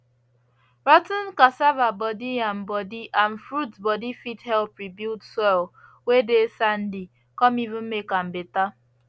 rot ten cassava body yam body and fruits body fit help rebuild soil whey dey sandy come even make am better